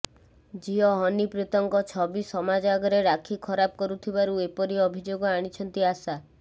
ଝିଅ ହନିପ୍ରୀତଙ୍କ ଛବି ସମାଜ ଆଗରେ ରାକ୍ଷୀ ଖରାପ କରୁଥିବାରୁ ଏପରି ଅଭିଯୋଗ ଆଣିଛନ୍ତି ଆଶା